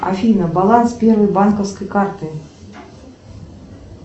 афина баланс первой банковской карты